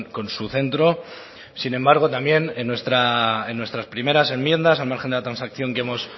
con su centro sin embargo también en nuestras primeras enmiendas al margen de la transacción que hemos